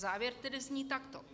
Závěr tedy zní takto.